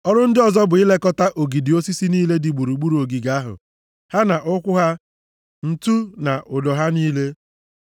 Ọrụ ndị ọzọ bụ ilekọta ogidi osisi niile dị gburugburu ogige ahụ ha na ụkwụ ha, ǹtu na ụdọ ha niile.